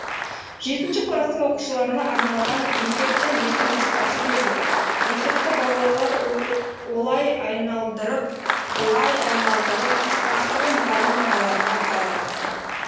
жетінші кластың оқушыларына арналған есептің екі нұсқасы беріліп есепті балалар олай айналдырып былай айналдырып ақыры мұғалім ағаларына қайырыпты